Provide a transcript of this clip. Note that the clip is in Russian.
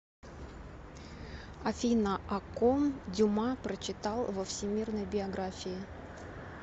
афина о ком дюма прочитал во всемирной биографии